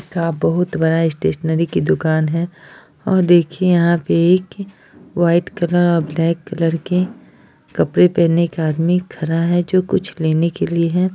का बहुत बड़ा स्टेशनरी की दुकान है और देखिए यहाँ पे एक व्हाइट कलर और ब्लैक कलर के कपड़े पहने एक आदमी खड़ा है जो कुछ लेने के लिए है।